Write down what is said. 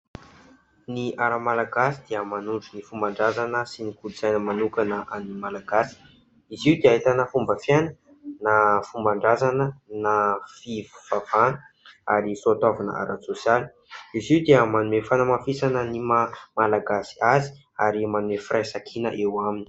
Ny "art" Malagasy dia manondro ny fomban-drazana sy ny kolontsaina manokana an'ny Malagasy. Izy io dia ahitana fomba fiaina na fomban-drazana na fivavahana ary soatoavina ara-tsôsialy. Izy io dia manome fanamafisana ny maha Malagasy azy ary maneho firaisan-kina eo aminy.